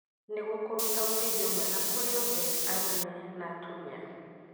Nĩguo kũruta ũteithio mwega kũrĩ othe arũme na atumia.